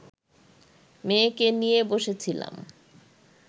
মেয়েকে নিয়ে বসেছিলাম